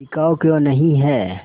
बिकाऊ क्यों नहीं है